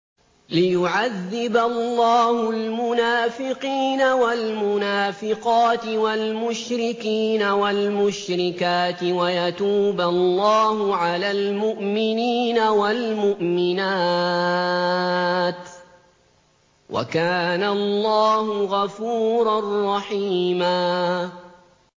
لِّيُعَذِّبَ اللَّهُ الْمُنَافِقِينَ وَالْمُنَافِقَاتِ وَالْمُشْرِكِينَ وَالْمُشْرِكَاتِ وَيَتُوبَ اللَّهُ عَلَى الْمُؤْمِنِينَ وَالْمُؤْمِنَاتِ ۗ وَكَانَ اللَّهُ غَفُورًا رَّحِيمًا